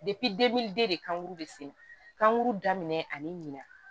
de kanguru de sen kan kuru daminɛ ani ɲinan